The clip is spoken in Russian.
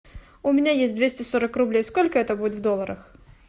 у меня есть двести сорок рублей сколько это будет в долларах